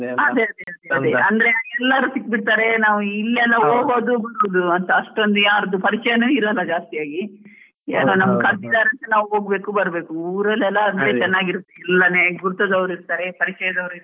ಅದೇ ಅದೇ ಅದೇ, ಅಂದ್ರೆ, ಎಲ್ಲರೂ ಸಿಕ್ ಬಿಡ್ತಾರೆ ಇಲ್ ಎಲ್ಲಾ ಹೋಗೋದು ಬರೋದು ಅಂತಾ ಅಷ್ಟೊಂದ್ ಯಾರ್ದು ಪರಿಚಯನು ಇರೋಲ್ಲ ಜಾಸ್ತಿ ಆಗಿ, ಯಾರೋ ನಮ್ಮನ್ ಕರ್ದಿದಾರೆ ಅಂತ ನಾವ್ ಹೋಗ್ಬೇಕು ಬರ್ಬೇಕು, ಊರಲೆಲ್ಲಾ ಗುರ್ತದವ್ರು ಇರ್ತಾರೆ, ಪರಿಚಯದವ್ರು ಇರ್ತಾರೆ.